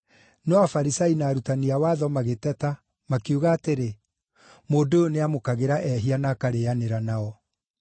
No Afarisai na arutani a watho magĩteta makiuga atĩrĩ, “Mũndũ ũyũ nĩamũkagĩra ehia na akarĩĩanĩra nao.”